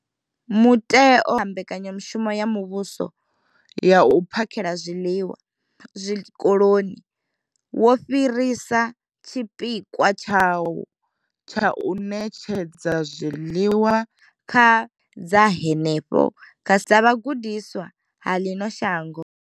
Muteo mbekanyamushumo ya muvhuso ya u phakhela zwiḽiwa zwikoloni, wo fhirisa tshipikwa tshawo tsha u ṋetshedza zwiḽiwa kha dza henefha kha dza vhagudiswa vha ḽino shango.